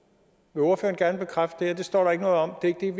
vil ordføreren gerne bekræfte at det står der ikke noget om det det er